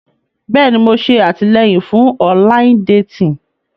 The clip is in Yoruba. Bẹ́ẹ̀ni, Mo ṣe atilẹyin fun ọnlayin detin.